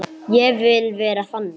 Ég vil vera þannig.